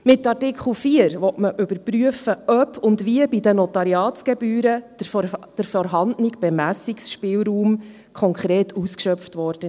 Mit Absatz 4 will man überprüfen, ob und wie bei den Notariatsgebühren der vorhandene Bemessungsspielraum konkret ausgeschöpft wurde.